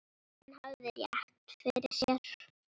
Hann hafði rétt fyrir sér.